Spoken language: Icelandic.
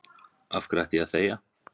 Af hverju ætti ég að þegja?